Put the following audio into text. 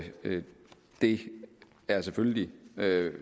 det er selvfølgelig